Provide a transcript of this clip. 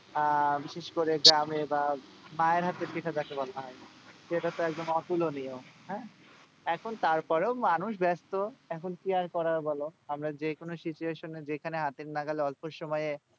আহ বিশেষ করে গ্রামে বা মায়ের হাতের পিঠা যাকে বলা হয় সেটাতো একদম অতুলনীয়। হ্যাঁ এখন তারপরেও মানুষ ব্যস্ত এখন কি আর করার বল আমরা যেকোনো situation এ যেখানে হাতের নাগালে অল্প সময়ে,